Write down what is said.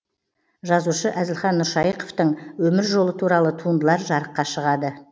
жазушы әзілхан нұршайықовтың өмір жолы туралы туындылар жарыққа шығады